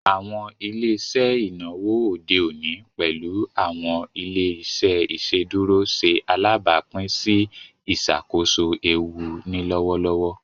Awọn ile-iṣẹ inawo ode oni, pẹlu awọn ile-iṣẹ iṣeduro, ṣe alabapin si iṣakoso eewu ni lọwọlọwọ.